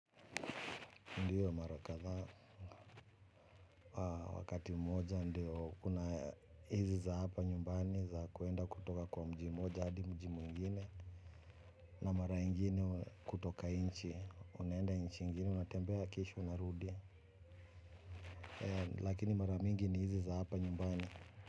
Ndiyo mara kadhaa wakati mmoja ndio kuna hizi za hapa nyumbani za kuenda kutoka kwa mji mmoja hadi mji mwingine. Na mara ingine kutoka nchi unaenda nchi inginie unatembea kisha unarudi. Lakini mara mingi ni hizi za hapa nyumbani.